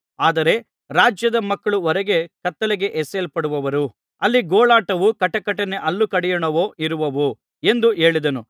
ಆದರೆ ರಾಜ್ಯದ ಮಕ್ಕಳು ಹೊರಗೆ ಕತ್ತಲೆಗೆ ಎಸೆಯಲ್ಪಡುವರು ಅಲ್ಲಿ ಗೋಳಾಟವೂ ಕಟಕಟನೆ ಹಲ್ಲು ಕಡಿಯೋಣವೂ ಇರುವವು ಎಂದು ಹೇಳಿದನು